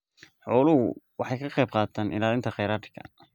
Xooluhu waxay ka qaybqaataan ilaalinta kheyraadka.